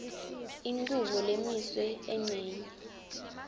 inchubo lemiswe encenyeni